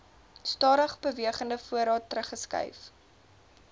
stadigbewegende voorraad teruggeskryf